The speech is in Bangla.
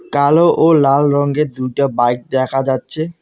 কালো ও লাল রঙ্গের দুইটা বাইক দেখা যাচ্ছে।